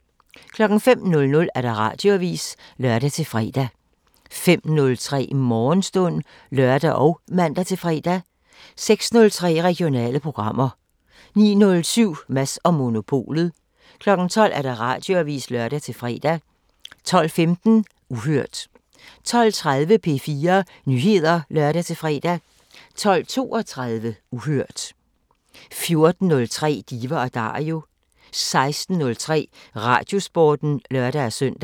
05:00: Radioavisen (lør-fre) 05:03: Morgenstund (lør og man-fre) 06:03: Regionale programmer 09:07: Mads & Monopolet 12:00: Radioavisen (lør-fre) 12:15: Uhørt 12:30: P4 Nyheder (lør-fre) 12:32: Uhørt 14:03: Diva & Dario 16:03: Radiosporten (lør-søn)